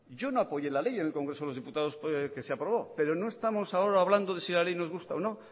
yo no apoyé la ley en el congreso de los diputados que se aprobó pero no estamos ahora hablando de si la ley nos gusta o no